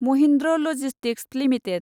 Mahindra logistics limited